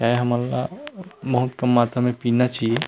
ये हमन ला बहुत कम मात्रा म पीना चाहिए।